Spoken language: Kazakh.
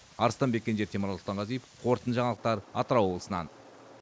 арыстанбек кенже темірлан сұлтанғазиев қорытынды жаңалықтар атырау облысынан